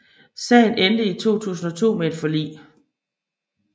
Sagen endte i 2002 med et forlig